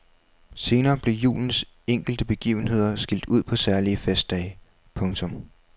Senere blev julens enkelte begivenheder skilt ud på særlige festdage. punktum